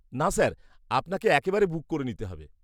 -না স্যার, আপনাকে একবারে বুক করে নিতে হবে।